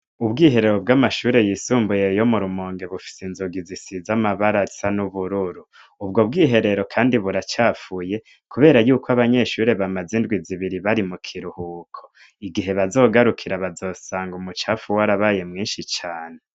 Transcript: Ubwiherero bw'amashure yisumbuye yo mu Rumonge bufise inzugi zisize amabara asa n'ubururu ubwo bwiherero kandi buracafuye kubera yuko abanyeshure bamaze indwi zibiri bari mu kiruhuko. Igihe bazogarukira bazosanga umucafu warabaye mwinshi cane.